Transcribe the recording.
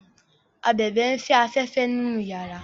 ábèbè n'fe aféfé nínú yàrá